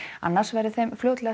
annars verði þeim fljótlega